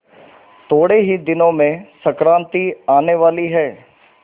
थोड़े ही दिनों में संक्रांति आने वाली है